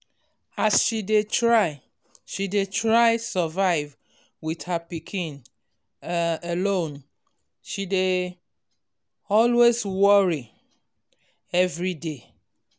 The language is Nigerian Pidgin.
as she dey try she dey try survive with her pikin um alone she dey always worry um every day